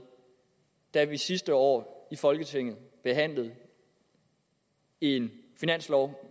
da vi sidste år i folketinget behandlede en finanslov